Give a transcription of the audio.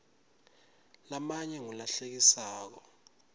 lamanye ngulahlekisako